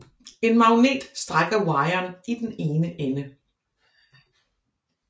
En magnet strækker wiren i den ene ende